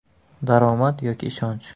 Daromad yoki ishonch?